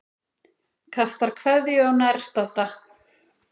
Kastar kveðju á nærstadda.